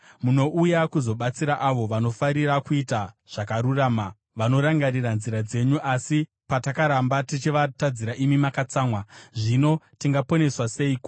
Munouya kuzobatsira avo vanofarira kuita zvakarurama, vanorangarira nzira dzenyu. Asi patakaramba tichivatadzira, imi makatsamwa. Zvino tingaponeswa seiko?